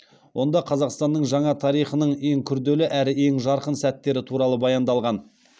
онда қазақстанның жаңа тарихының ең күрделі әрі ең жарқын сәттері туралы баяндалған